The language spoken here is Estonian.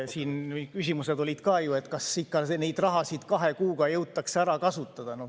Siin olid ju ka küsimused, et kas ikka neid rahasid kahe kuuga jõutakse ära kasutada.